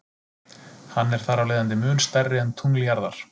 Hann er þarafleiðandi mun stærri en tungl jarðar.